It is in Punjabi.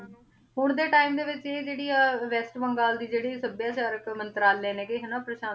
ਹੁਣ ਦੇ ਟੀਮੇ ਦੇ ਵਿਚ ਵੀ ਜੇਰੀ ਆ ਵੇਸ੍ਟ ਬੰਗਾਲ ਦੀ ਜੇਰੀ ਸਬ੍ਯ੍ਯਾ ਚਾਰਕ ਮੰਤ੍ਰਾਲ੍ਯ ਨੇ ਨਾ ਕੇ ਪਾਰ੍ਸ਼ਾਨ੍ਸੀ